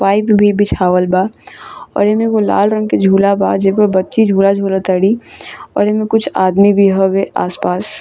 Pipe भी बिछावल बा और एमे एगो लाल रंग के झूला बा जेमें बच्चे झूला झुल तारी और एमे कुछ आदमी भी होवे आसपास।